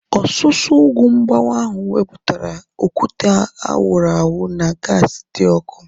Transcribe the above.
Ọsusu ugwu mgbawa ahu wepụtara okwute a wụrụ awụ na gaasi dị ọkụ